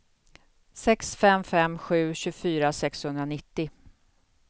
sex fem fem sju tjugofyra sexhundranittio